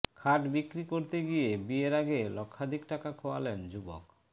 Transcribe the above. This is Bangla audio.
খাট বিক্রি করতে গিয়ে বিয়ের আগে লক্ষাধিক টাকা খোয়ালেন যুবক